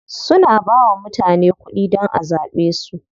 Suna bawa mutane kuɗi dan a zaɓe su.